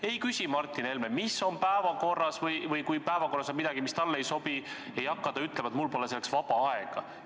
Ei küsi Martin Helme, mis on päevakorras, või kui päevakorras on midagi, mis talle ei sobi, siis ei hakka ta ütlema, et mul pole selleks vaba aega.